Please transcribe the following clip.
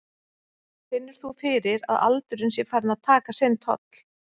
Finnur þú fyrir að aldurinn sé farinn að taka sinn toll?